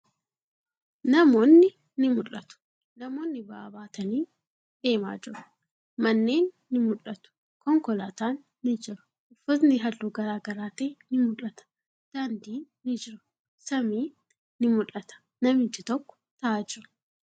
Namoonni ni mul'atu. Namoonni ba'aa baatanii deemaa jiru. Manneen ni mul'atu. Konkolaatan ni jira. Uffatni haalluu garagara ta'e ni mul'ata. Daandin ni jira. Samiin ni mul'ata. Namichi tokko taa'aa jira.